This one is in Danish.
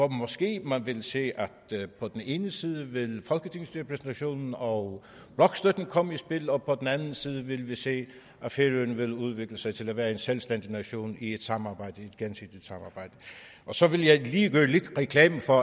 måske vil se at på den ene side vil folketingsrepræsentationen og blokstøtten komme i spil og på den anden side vil vi se at færøerne vil udvikle sig til at være en selvstændig nation i et gensidigt samarbejde så vil jeg lige gøre lidt reklame for